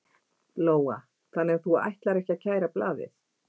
Lóa: Þannig að þú ætlar ekki að kæra blaðið?